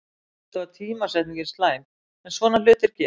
Auðvitað var tímasetningin slæm, en svona hlutir gerast.